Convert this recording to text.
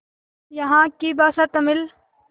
यहाँ की भाषा तमिल